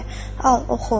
Al, oxu.